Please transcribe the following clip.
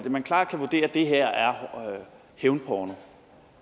og man klart kan vurdere at det her er hævnporno